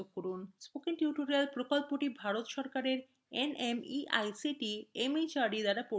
spoken tutorial প্রকল্পটি ভারত সরকারের nmeict mhrd দ্বারা পরিচালিত হয়